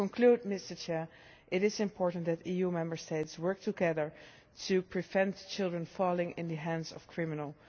To conclude, it is important that EU Member States work together to prevent children falling into the hands of criminals.